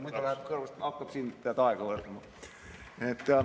Muidu läheb see kõrvust mööda, kui hakkab siin aega võtma.